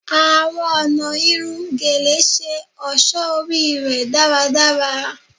Awọn ọna irun Gele ṣe ọṣọ ori rẹ daradara